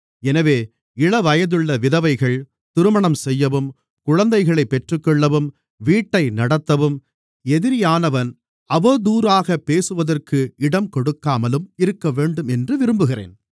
எனவே இளவயதுள்ள விதவைகள் திருமணம்செய்யவும் குழந்தைகளைப் பெற்றுக்கொள்ளவும் வீட்டை நடத்தவும் எதிரியானவன் அவதூறாக பேசுவதற்கு இடம்கொடுக்காமலும் இருக்கவேண்டும் என்று விரும்புகிறேன்